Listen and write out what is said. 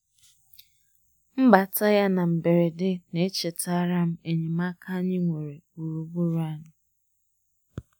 Mbata ya na mgberede na-echetara m enyemaaka anyị nwere gburugburu anyị.